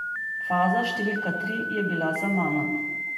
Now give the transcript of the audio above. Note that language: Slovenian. Faza številka tri je bila za mano.